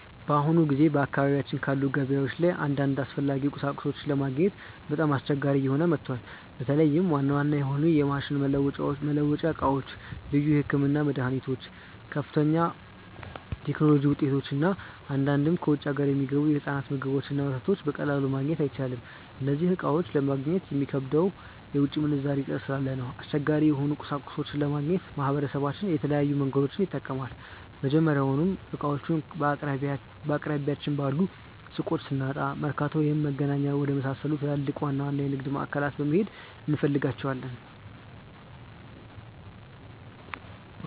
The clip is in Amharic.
በአሁኑ ጊዜ በአካባቢያችን ባሉ ገበያዎች ላይ አንዳንድ አስፈላጊ ቁሳቁሶችን ለማግኘት በጣም አስቸጋሪ እየሆነ መጥቷል። በተለይም ዋና ዋና የሆኑ የማሽን መለዋወጫ ዕቃዎች፣ ልዩ የሕክምና መድኃኒቶች፣ ከፍተኛ የቴክኖሎጂ ውጤቶች እና አንዳንድ ከውጭ አገር የሚገቡ የሕፃናት ምግቦችንና ወተት በቀላሉ ማግኘት አይቻልም። እነዚህን ዕቃዎች ለማግኘት የሚከብደው የውጭ ምንዛሬ እጥረት ስላለ ነው። አስቸጋሪ የሆኑ ቁሳቁሶችን ለማግኘት ማህበረሰባችን የተለያዩ መንገዶችን ይጠቀማል። መጀመሪያውኑ ዕቃዎቹን በአቅራቢያችን ባሉ ሱቆች ስናጣ፣ መርካቶ ወይም መገናኛ ወደመሳሰሉ ትላልቅና ዋና ዋና የንግድ ማዕከላት በመሄድ እንፈልጋቸዋለን።